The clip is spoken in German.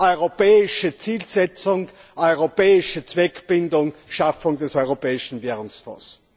Europäische Zielsetzung, europäische Zweckbindung, Schaffung des Europäischen Währungsfonds.